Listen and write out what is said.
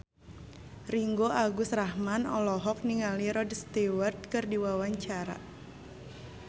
Ringgo Agus Rahman olohok ningali Rod Stewart keur diwawancara